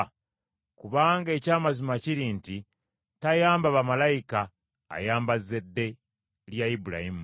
Kubanga eky’amazima kiri nti tayamba bamalayika, ayamba zzadde lya Ibulayimu.